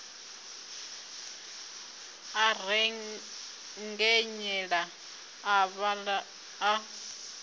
a rengenyela a vhaḓa a